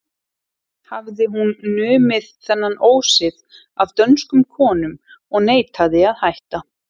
Hafði hún numið þennan ósið af dönskum konum og neitaði að hætta.